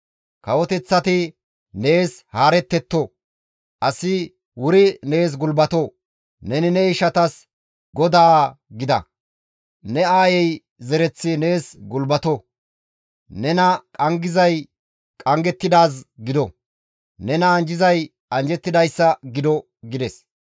Kawoteththati nees haarettetto; asi wuri nees gulbato; neni ne ishatas godaa gida; ne aayey zereththi nees gulbato; nena qanggizay qanggettidaaz gido; nena anjjizay anjjettidayssa gido» gides.